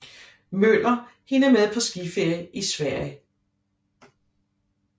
Møller hende med på skiferie i Sverige